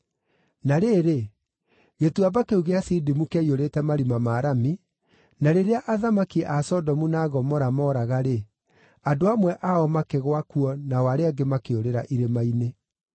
Na rĩrĩ, Gĩtuamba kĩu gĩa Sidimu kĩaiyũrĩte marima ma rami, na rĩrĩa athamaki a Sodomu na Gomora mooraga-rĩ, andũ amwe ao makĩgũa kuo nao arĩa angĩ makĩũrĩra irĩma-inĩ.